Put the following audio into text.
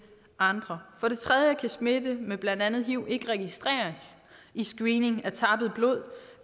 andre for det tredje kan smitte med blandt andet hiv ikke registreres i screening af tappet blod